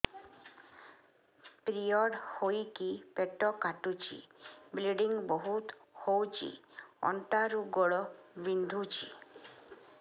period ହୋଇକି ପେଟ କାଟୁଛି ବ୍ଲିଡ଼ିଙ୍ଗ ବହୁତ ହଉଚି ଅଣ୍ଟା ରୁ ଗୋଡ ବିନ୍ଧୁଛି